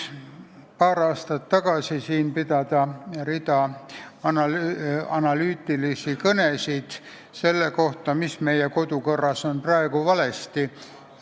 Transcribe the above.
Paar aastat tagasi pidasin siin rea analüütilisi kõnesid selle kohta, mis Riigikogu kodukorras on praegu valesti.